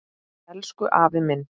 Elsku afi minn.